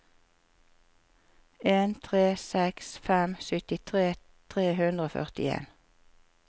en tre seks fem syttitre tre hundre og førtien